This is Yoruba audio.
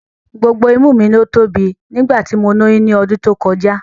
Gbogbo imú mi ló tóbi nígbà tí mo lóyún ní ọdún tó kọjá